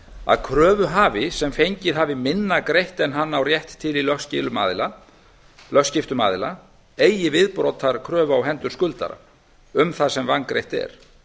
að kröfuhafi sem fengið hefur minna greitt en hann á rétt til í lögskiptum aðila eigi viðbótarkröfu á hendur skuldara um það sem vangreitt er